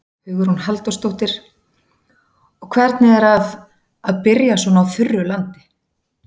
Hugrún Halldórsdóttir: Og hvernig er að, að byrja svona á þurru landi?